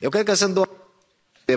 Eu cred că sunt două